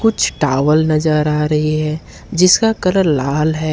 कुछ टॉवल नजर आ रही है जिसका कलर लाल है।